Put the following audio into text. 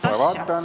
Kohe vaatan!